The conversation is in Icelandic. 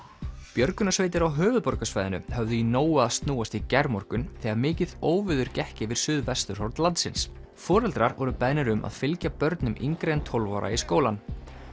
björgunarsveitir á höfuðborgarsvæðinu höfðu í nógu að snúast í gærmorgun þegar mikið óveður gekk yfir suðvesturhorn landsins foreldrar voru beðnir um að fylgja börnum yngri en tólf ára í skólann